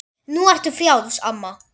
Nú ertu frjáls, amma.